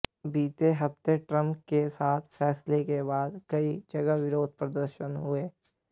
बीते हफ्ते ट्रंप के इस फैसले के बाद कई जगह विरोध प्रदर्शन हुए